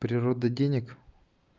природа денег